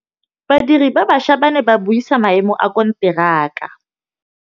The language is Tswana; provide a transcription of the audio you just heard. Badiri ba baša ba ne ba buisa maêmô a konteraka.